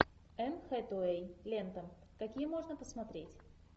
энн хэтэуэй лента какие можно посмотреть